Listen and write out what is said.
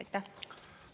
Aitäh!